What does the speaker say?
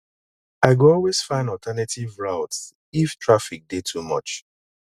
i go always find alternative routes if traffic dey too much